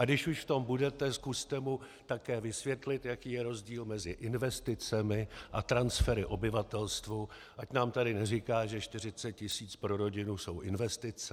A když už v tom budete, zkuste mu také vysvětlit, jaký je rozdíl mezi investicemi a transfery obyvatelstvu, ať nám tady neříká, že 40 tisíc pro rodinu jsou investice.